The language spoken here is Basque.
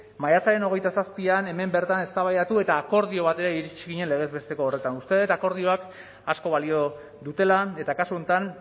maiatzaren hogeita zazpian hemen bertan eztabaidatu eta akordio batera iritsi ginen legez besteko horretan uste dut akordioek asko balio dutela eta kasu honetan